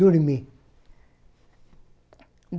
Dormi.